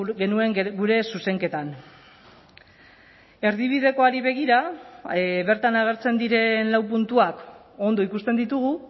genuen gure zuzenketan erdibidekoari begira bertan agertzen diren lau puntuak ondo ikusten ditugu